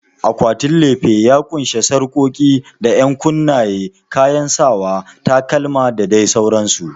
Akwatin lefe ya ƙunshi sarƙoƙi da ƴankunnaye, kayan sawa, takalma da dai sauransu.